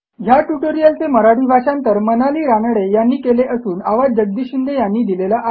ह्या ट्युटोरियलचे मराठी भाषांतर मनाली रानडे यांनी केले असून आवाज जगदीश शिंदे यांचा आहे